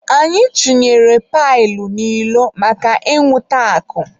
Anyị chunyere pailu n'ilo maka inwụta akụ.